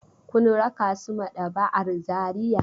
Kun raka su maɗaba'ar Zariya?